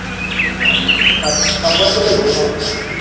শংকরপুর গেছিলি ওখানে